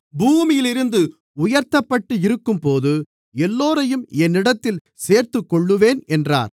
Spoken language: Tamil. பூமியிலிருந்து உயர்த்தப்பட்டு இருக்கும்போது எல்லோரையும் என்னிடத்தில் சேர்த்துக்கொள்ளுவேன் என்றார்